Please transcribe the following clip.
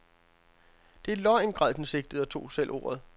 Det er løgn, græd den sigtede og tog selv ordet.